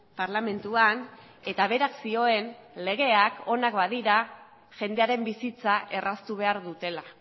parlamentuan eta berak zioen legeak onak badira jendearen bizitza erraztu behar dutela